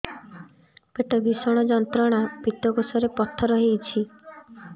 ପେଟ ଭୀଷଣ ଯନ୍ତ୍ରଣା ପିତକୋଷ ରେ ପଥର ହେଇଚି